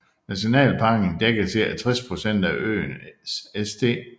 Nationalparken dækker cirka 60 procent af øen St